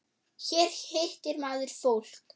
Hér hittir maður fólk.